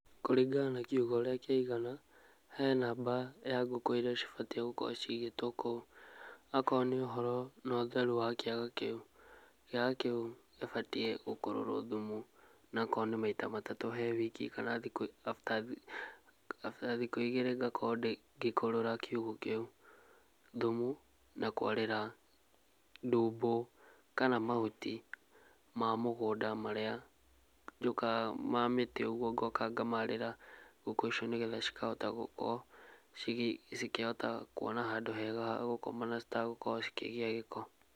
Kũringana na kĩugũ ũrĩa kĩigana ,he namba ya ngũkũ iria cibatie gũkorwo cigĩtwo kũu akorwo nĩ ũhoro no ũtheru wa kĩaga kĩu, kĩaga kĩu gĩbatie gũkũrũrwo thumu onokorwo nĩ maĩta matatũ kwa wiki kana After thikũ igĩrĩ gakorwo gĩkorora kĩugo kĩu thumu na kwarĩra ndumbo kana mahuti ma mũgũnda maria ma mĩtĩ ũgũo ngoka ngamarĩra ngũkũ icio nĩgetha cikahota gũkorwo cikĩhota kuona handũ hega ha gũkoma na citagũkorwo cikĩgĩa gĩko.